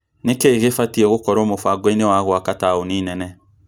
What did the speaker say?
Nĩkĩĩ gĩbatie gũkorwo mũbango-inĩ wa gũaka taũni nene?